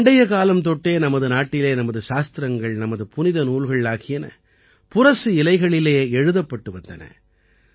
பண்டைய காலம் தொட்டே நமது நாட்டிலே நமது சாஸ்திரங்கள் நமது புனித நூல்கள் ஆகியன புரசு இலைகளிலே எழுதப்பட்டு வந்தன